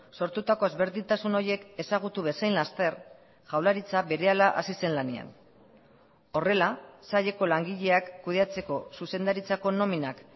sortutako ezberdintasun horiek ezagutu bezain laster jaurlaritza berehala hasi zen lanean horrela saileko langileak kudeatzeko zuzendaritzako nominak